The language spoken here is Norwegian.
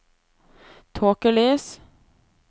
tåkelys